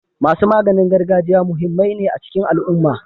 Masu maganin gargajiya muhimmai ne a cikin al'umma.